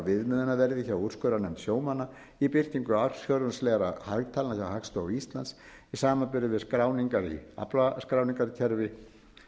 viðmiðunarverði hjá úrskurðarnefnd sjómanna í birtingu ársfjórðungslegra hagtalna hjá hagstofu íslands í samanburði við skráningar í aflaskráningarkerfi